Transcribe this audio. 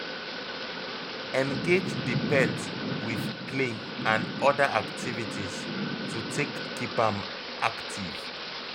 Engage di pet with play and oda activities to take keep am active